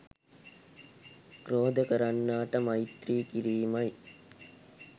ක්‍රෝධ කරන්නාට මෛත්‍රිය කිරීමයි.